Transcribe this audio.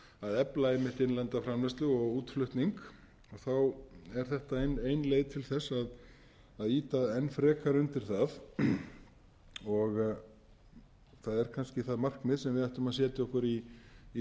að efla einmitt innlenda framleiðslu og útflutning er þetta ein leið til þess að ýta enn frekar undir það og það er kannski það markmið sem við ættum að setja okkur í